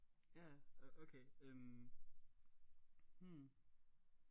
Ja okay øh hm